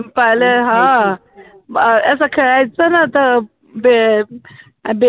पहिले हा, असं खेळायचं नव्हतं बे बेर वैगेरे राहायचे ना